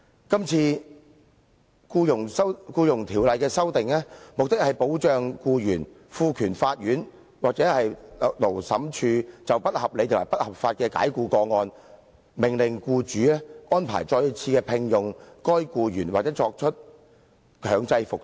這次《僱傭條例》的修訂，目的是保障僱員，並賦權法庭或勞資審裁處就不合理及不合法的解僱個案，命令僱主再次聘用被解僱的僱員，或者作出強制復職。